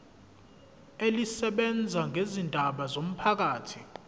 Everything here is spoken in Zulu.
elisebenza ngezindaba zomphakathi